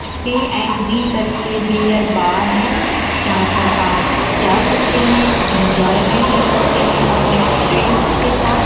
P and B करके beer bar है जहां पर आप जा सकते हैं एंजॉयमेंट कर सकते हैं अपने फ्रेंड्स के साथ।